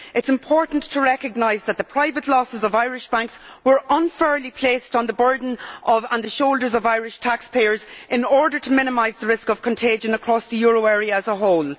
It is important to recognise that the private losses of Irish banks were unfairly placed as a burden on the shoulders of Irish taxpayers in order to minimise the risk of contagion across the euro area as a whole.